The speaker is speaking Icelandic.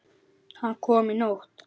Hann kom í nótt.